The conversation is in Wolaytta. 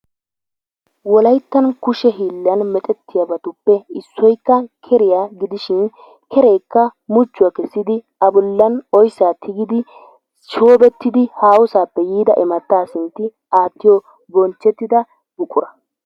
Wolayttan kushe hiillan merettiyabatuppe issoykka keriya gidishin kereekka muchchuwaa kessidi A bolan oyssaa tigiddi shoobettidi haahosaappe yiida immataa sintti aatiyo bonchchetida buqqura.